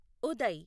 Uday